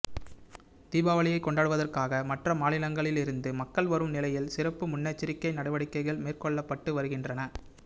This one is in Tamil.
தீபாவளியைக் கொண்டாடுவதற்காக மற்ற மாநிலங்களில் இருந்து மக்கள் வரும் நிலையில் சிறப்பு முன்னெச்சரிக்கை நடவடிக்கைகள் மேற்கொள்ளப்பட்டு வருகின்றன